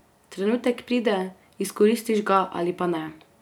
Trenutek pride, izkoristiš ga ali pa ne.